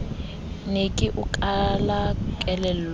ne ke o kala kelello